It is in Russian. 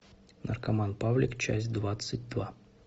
наркоман павлик часть двадцать два